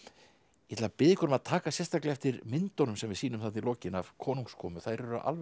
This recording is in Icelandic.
ég ætla að biðja ykkur um að taka sérstaklega eftir myndunum sem við sýnum í lokin af konungskomu þær eru alveg